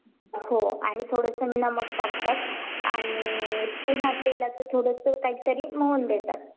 धन्यवाद भाग्यश्री